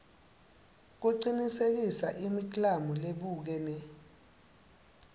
kucinisekisa imiklamo lebukene